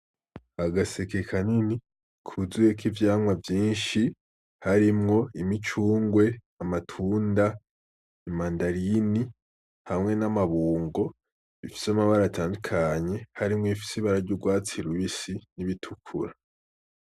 Agaseke kanini kuzuyemw'ivyamwa vyinshi harimwo :imicungwe, amatunda, imandarine hamwe n'amabuko bifis'amabara atandukanye harim'w'bifis'ibara ry'urwatsi rubisi n'ibitukura.